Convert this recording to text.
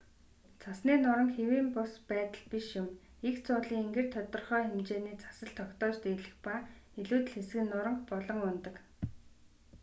цасны нуранги хэвийн бус байдал биш юм эгц уулын энгэр тодорхой хэмжээний цас л тогтоож дийлэх ба илүүдэл хэсэг нь нуранги болон унадаг